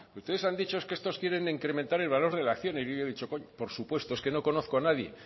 ustedes han dicho que estos quieren incrementar el valor de la acción y yo he dicho coño por supuesto es que no conozco a nadie